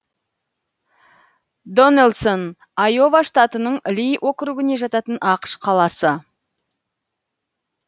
доннэлсон айова штатының ли округіне жататын ақш қаласы